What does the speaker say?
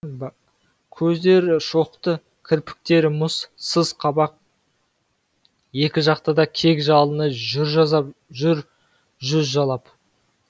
көздері шоқты кірпіктері мұз сыз қабақ екі жақта да кек жалыны жүр жүз жалап